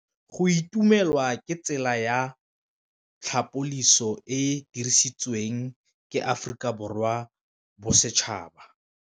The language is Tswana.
Go itumela ke tsela ya tlhapolisô e e dirisitsweng ke Aforika Borwa ya Bosetšhaba.